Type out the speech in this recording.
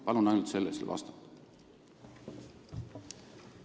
Palun ainult sellele vastata!